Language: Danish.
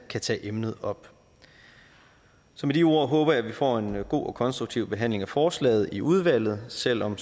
tage emnet op så med de ord håber jeg at vi får en god og konstruktiv behandling af forslaget i udvalget selv om